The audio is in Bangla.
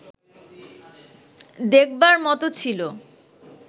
দেখবার মতো ছিল